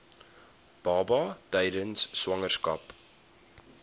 baba tydens swangerskap